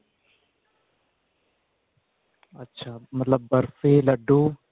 ਅੱਛਾ ਮਤਲਬ ਬਰਫੀ ਲੱਡੂ